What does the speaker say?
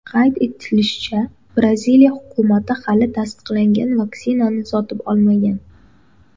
Qayd etilishicha, Braziliya hukumati hali tasdiqlangan vaksinani sotib olmagan.